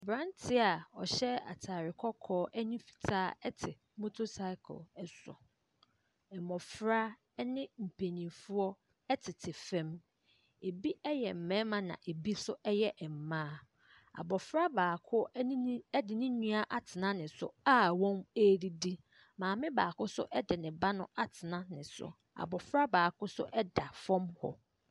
Abranteɛ ɔhyɛ ataare kɔkɔɔ ne fitaa te motor cycle so. Mmofra ne mpanimfoɔɔ tete fam. Ebi yɛ mmarima na ebi nso yɛ mmaa. Abofra baako ɛne ne ɛde ne nua atena ne so a wɔredidi. Maame baako nso de ne ba atena ne so. Abofra baako nso ɛda fam hɔ.